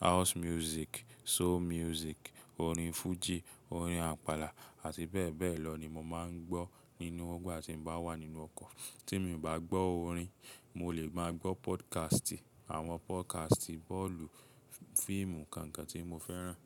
house music soul music, orin Fuji, orin apala àti bẹ́ẹ̀ bẹ́ẹ̀ lọ ní mo máa ń gbọ́ tí ń bá wa nínú ọkọ̀. Tí mo bá gbọ́ orin, mo lè máa gbọ́ podcast, àwọn podcast bọ́ọ̀lù, fíìmù, kankan tí mo fẹ́ràn.